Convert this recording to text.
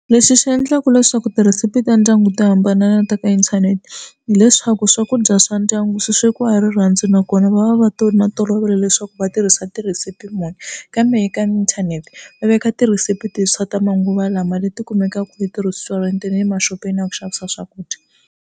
Leswi swi endlaka leswaku tirhesipi ta ndyangu to hambana ta ka inthanete hileswaku swakudya swa ndyangu swi swekiwa hi rirhandzu nakona va va va to na tolovela leswaku va tirhisa tirhesipi muni kambe eka inthanete va veka tirhesipi tintshwa ta manguva lawa leti kumekaka eti-restuarant na le maxopeni ya ku xavisa swakudya.